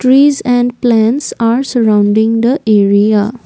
trees and plants are surrounding the area.